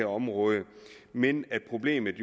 området men problemet